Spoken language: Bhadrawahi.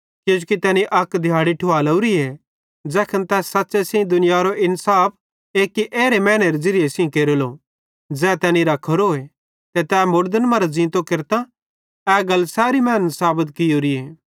किजोकि तैनी अक दिहाड़ी ठुवालेवरीए ज़ैखन तै सच़्च़े सेइं दुनियारो इन्साफ एक्की एरे मैनेरे ज़िरिये सेइं केरेलो ज़ै तैनी रख्खोरोए ते तै तैनी मुड़दन मरां ज़ींतो केरतां ए गल सैरी मैनन् साबत कियोरीए